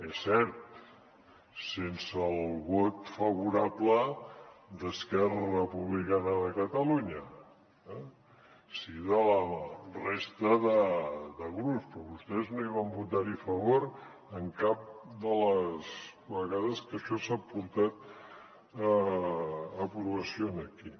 és cert sense el vot favorable d’esquerra republicana de catalunya sí de la resta de grups però vostès no hi van votar a favor cap de les vegades que això s’ha portat a aprovació aquí